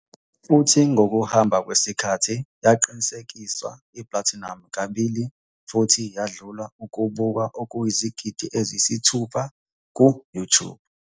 futhi ngokuhamba kwesikhathi yaqinisekiswa i-platinum kabili futhi yadlula ukubukwa okuyizigidi eziyisithupha ku-YouTube.